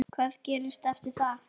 Hvað gerist eftir það?